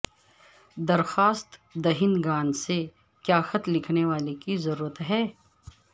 درخواست دہندگان سے کیا خط لکھنے والے کی ضرورت ہے